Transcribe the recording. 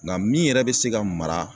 Nka min yɛrɛ be se ka mara